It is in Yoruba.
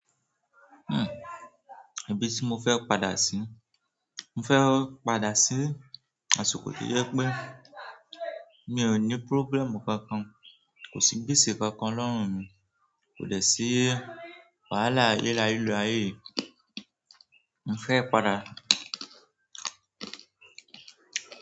Ibi tí mo fẹ́ padà síi? Mo fẹ́ padà síi àsìkò tó jẹ pé mi ò ní problem kankan, kò síi gbèsè kánkan lọ́rùn mi, kò dẹ̀ síi wàhálà lilo ayé yìí, mo fẹ́ padà.